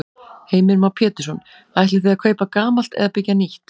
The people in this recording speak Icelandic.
Heimir Már Pétursson: Ætlið þið að kaupa gamalt eða byggja nýtt?